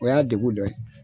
O y'a degu dɔ ye.